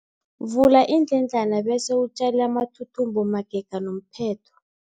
Vula iindledlana bese utjale amathuthumbo magega nomphetho.